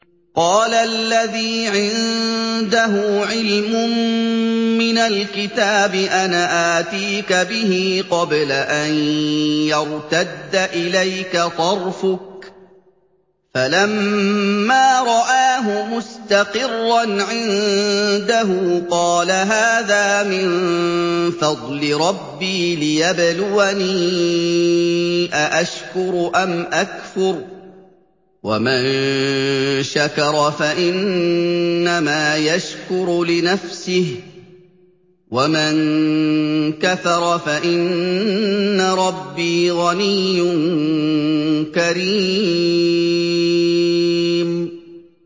قَالَ الَّذِي عِندَهُ عِلْمٌ مِّنَ الْكِتَابِ أَنَا آتِيكَ بِهِ قَبْلَ أَن يَرْتَدَّ إِلَيْكَ طَرْفُكَ ۚ فَلَمَّا رَآهُ مُسْتَقِرًّا عِندَهُ قَالَ هَٰذَا مِن فَضْلِ رَبِّي لِيَبْلُوَنِي أَأَشْكُرُ أَمْ أَكْفُرُ ۖ وَمَن شَكَرَ فَإِنَّمَا يَشْكُرُ لِنَفْسِهِ ۖ وَمَن كَفَرَ فَإِنَّ رَبِّي غَنِيٌّ كَرِيمٌ